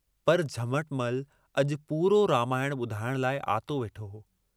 "कंहिंजो तेजीअ सुवालु कयो।